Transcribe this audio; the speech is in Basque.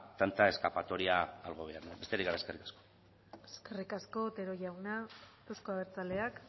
tanta escapatoria al gobierno besterik gabe eskerrik asko eskerrik asko otero jauna euzko abertzaleak